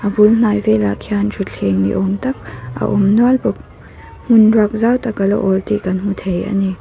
a bul hnai velah khian thuthleng ni awm tak a awm nual bawk hmun ruak zau tak ala awl tih kan hmu thei ani.